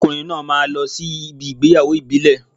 Arákùnrin náà máa lọ sí ibi ìgbéyàwó ìbílẹ̀